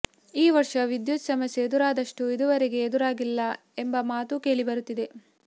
ಈ ವರ್ಷ ವಿದ್ಯುತ್ ಸಮಸ್ಯೆ ಎದುರಾದಷ್ಟು ಇದುವರೆಗೆ ಎದುರಾಗಿಲ್ಲ ಎಂಬ ಮಾತೂ ಕೇಳಿ ಬರುತ್ತಿದೆ